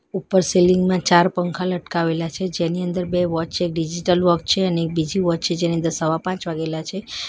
ઉપર સિલીંગ માં ચાર પંખા લટકાવેલા છે જેની અંદર બે વોચ છે એક ડિજિટલ વોક છે અને એક બીજી વોચ છે જેની અંદર સવા પાંચ વાગેલા છે.